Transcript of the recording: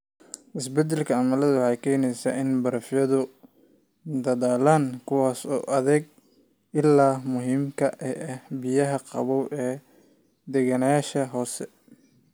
Isbeddelka cimiladu waxay keenaysaa in barafyadu dhalaalaan, kuwaas oo u adeega ilaha muhiimka ah ee biyaha qabow ee deganayaasha hoose.